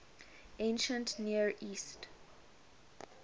ancient near east